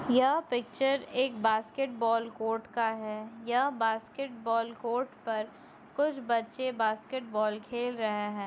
यह पिक्चर एक basketball court का हैं यह बास्केट बॉल कोर्ट पर कुछ बच्चे बास्केट बाल खेल रहे हैं।